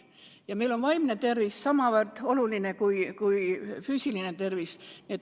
Ja meil on vaimne tervis samavõrd oluline kui füüsiline tervis.